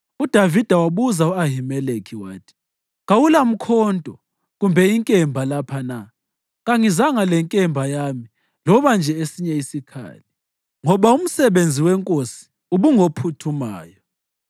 UDavida wabuza u-Ahimeleki wathi, “Kawulamkhonto kumbe inkemba lapha na? Kangizanga lenkemba yami loba nje esinye isikhali, ngoba umsebenzi wenkosi ubungophuthumayo.”